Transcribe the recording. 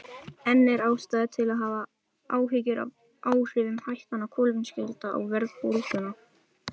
En er ástæða til að hafa áhyggjur af áhrifum hækkana á kolefnisgjaldi á verðbólguna?